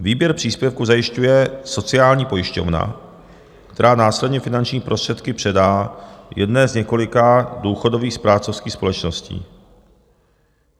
Výběr příspěvku zajišťuje sociální pojišťovna, která následně finanční prostředky předá jedné z několika důchodových správcovských společností.